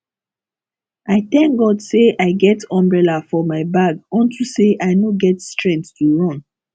i thank god say i get umbrella for my bag unto say i no get strength to run